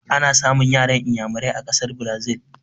Ana samun yaran Inyamurai a ƙasar Brazil